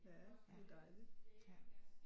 Ja det er dejligt